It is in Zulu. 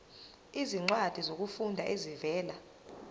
izincwadi zokufunda ezivela